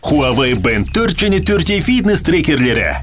хуавей бэнд төрт және төрт е фитнес трекерлері